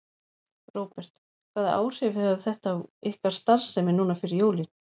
Róbert: Hvaða áhrif hefur þetta á ykkar starfsemi núna fyrir jólin?